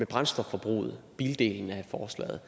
brændstofforbruget bildelen af forslaget